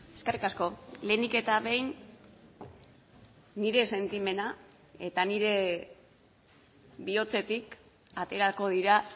eskerrik asko lehenik eta behin nire sentimena eta nire bihotzetik aterako dira